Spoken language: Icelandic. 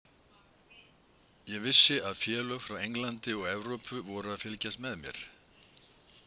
Ég vissi að félög frá Englandi og Evrópu voru að fylgjast með mér.